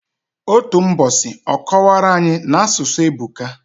Otu mbosi, ọ kọwara anyi, n'asụsụ ebuka.